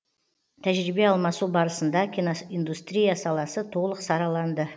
тәжірибе алмасу барысында киноиндустрия саласы толық сараланды